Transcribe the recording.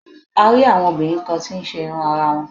A rí àwọn obìnrin kan tí ń ṣe irun ara wọn.